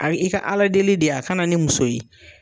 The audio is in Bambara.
Ayi i ka ala deli de ye a ka na ni muso ye